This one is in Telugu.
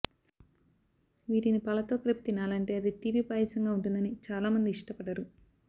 వీటిని పాలతో కలిపి తినాలంటే అది తీపి పాయసంగా వుంటుందని చాలామంది ఇష్టపడరు